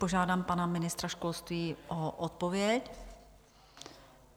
Požádám pana ministra školství o odpověď.